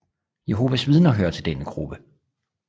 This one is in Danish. Jehovas Vidner hører til denne gruppe